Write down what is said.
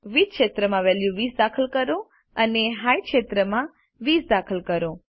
width ક્ષેત્રમાં value 20 દાખલ કરો અને હાઇટ માં ક્ષેત્રમાં 20 દાખલ કરો